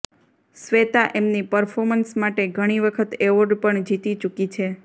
શ્વેતા એમની પર્ફોમન્સ માટે ઘણી વખત એવોર્ડ પણ જીતી ચુકી છે